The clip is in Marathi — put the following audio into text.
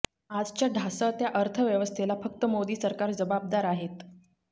आजच्या ढासळत्या अर्थव्यवस्थेला फक्त मोदी सरकार जबाबदार आहेत